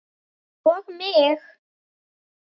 Og mig!